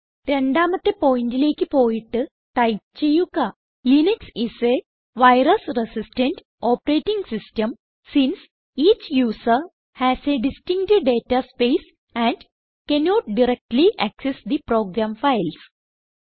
രണ്ടാമത്തെ പോയിന്റിലേക്ക് പോയിട്ട് ടൈപ്പ് ചെയ്യുക Linux is a virus resistant operating system since each user has a distinct data space and cannot directly access the program files